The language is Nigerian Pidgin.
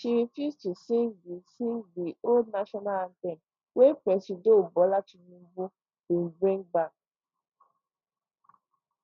she refuse to sing di sing di old national anthem wey presido bola tinubu bin bring bak